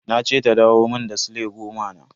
Na ce ta dawo mun da sile goma na.